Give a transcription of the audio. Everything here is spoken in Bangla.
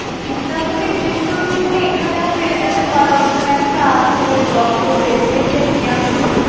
কীটনাশকের জিনিসপত্র তুমি এখানেও পেয়ে যেতে পারো এখানে একটা আছে ওই দত্তদের দেখেছি আমি